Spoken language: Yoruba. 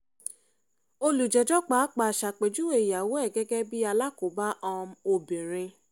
olùjẹ́jọ́ pàápàá ṣàpèjúwe ìyàwó ẹ̀ gẹ́gẹ́ bíi alákòóbá um obìnrin